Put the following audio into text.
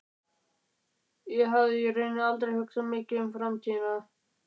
Ég hafði í rauninni aldrei hugsað mikið um framtíðina.